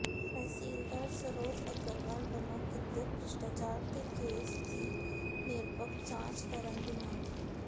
ਤਹਿਸੀਲਦਾਰ ਸਰੋਜ ਅੱਗਰਵਾਲ ਵੱਲੋਂ ਕੀਤੇ ਭ੍ਰਿਸ਼ਟਾਚਾਰ ਦੇ ਕੇਸ ਦੀ ਨਿਰਪੱਖ ਜਾਂਚ ਕਰਨ ਦੀ ਮੰਗ